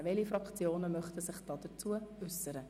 Welche Fraktionen möchten sich dazu äussern?